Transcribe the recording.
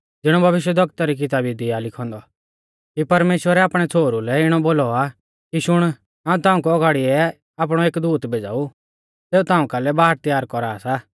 ज़िणौ भविष्यवक्ता री किताबी दी आ लिखौ औन्दौ कि परमेश्‍वरै आपणै छ़ोहरु लै इणौ बोलौ आ कि शुण हाऊं ताऊं कु औगाड़िऐ आपणौ एक दूत भेज़ाऊ सेऊ ताऊं कालै बाट त्यार कौरा सा